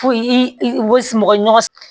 Fo i mɔgɔɲɔgɔn